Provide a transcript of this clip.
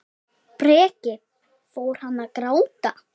Breki: Fór hann að gráta?